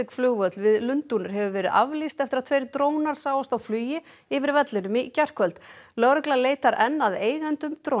flugvöll við Lundúnir hefur verið aflýst eftir að tveir drónar sáust á flugi yfir vellinum í gærkvöld lögregla leitar enn að eigendum